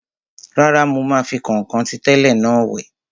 Rárá, mo máa fi kọ̀nkọ̀n ti tẹ́lẹ̀ náà wẹ̀